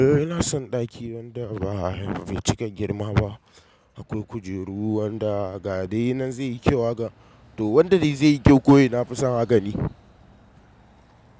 Eh ina son ɗaki wanda bai cika girma ba. Akwai kujeru wanda gadai nan zai yi kyau haka to wanda dai zai yi kyau kowai nafi son haka dai.